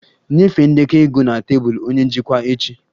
Nyefee ndekọ ego na tebụl onye njikwa echi!